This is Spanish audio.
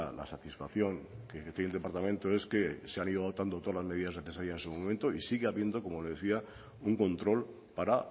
la satisfacción que tiene el departamento es que se han ido adoptando todas las medidas necesarias en su momento y sigue habiendo como le decía un control para